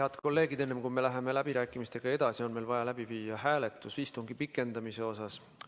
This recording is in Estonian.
Head kolleegid, enne kui me läheme läbirääkimistega edasi, on meil vaja läbi viia istungi pikendamise hääletus.